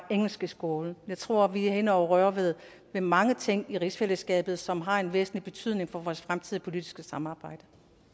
engelsk i skolen jeg tror vi er inde at røre ved mange ting i rigsfællesskabet som har en væsentlig betydning for vores fremtidige politiske samarbejde